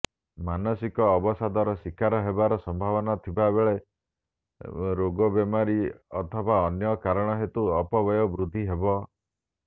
ମାନସିକ ଅବସାଦର ଶିକାର ହେବାର ସମ୍ଭାବନା ଥିବା ବେଳେ ରୋଗବେମାରୀ ଅଥବା ଅନ୍ୟ କାରଣହେତୁ ଅପବ୍ୟୟ ବୃଦ୍ଧି ହେବ